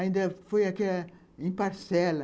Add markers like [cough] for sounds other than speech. Ainda foi [unintelligible] em parcela.